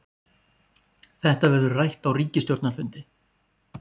Þetta verður rætt á ríkisstjórnarfundi